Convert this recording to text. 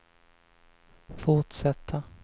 fortsätta